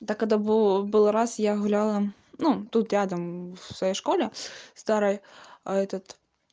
так это был раз я гуляла ну тут рядом в своей школе старая этот